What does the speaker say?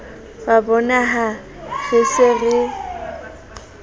wa bonaha re se re